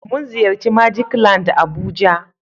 mun ziyarci " magic land"abuja.